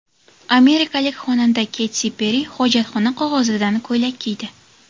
Amerikalik xonanda Keti Perri hojatxona qog‘ozidan ko‘ylak kiydi.